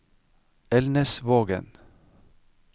Elnesvågen